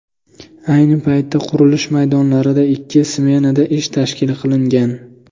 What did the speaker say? Ayni paytda qurilish maydonlarida ikki smenada ish tashkil qilingan.